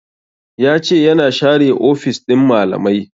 Ya ce ya na share ofis ɗin malamai